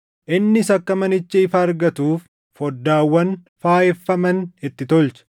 Innis akka manichi ifa argatuuf foddaawwan faayeffaman itti tolche.